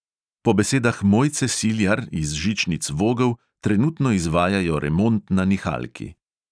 Po besedah mojce siljar iz žičnic vogel trenutno izvajajo remont na nihalki.